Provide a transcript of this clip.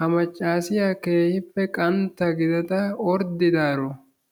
Ha maccaasiya keehippe qantta gidada orddidaro